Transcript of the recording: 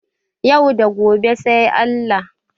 Yau da gobe sai Allah